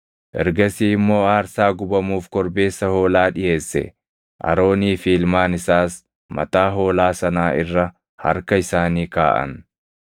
Ergasii immoo aarsaa gubamuuf korbeessa hoolaa dhiʼeesse; Aroonii fi ilmaan isaas mataa hoolaa sanaa irra harka isaanii kaaʼan.